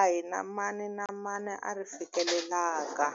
a hi na mani na mani a ri fikelelaka.